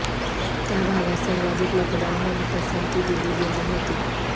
त्या भागास सर्वाधिक मतदान होऊन पसंती दिली गेली होती